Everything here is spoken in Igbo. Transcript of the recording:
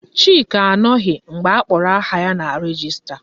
Chike anụghị mgbe akpọrọ aha ya na rejista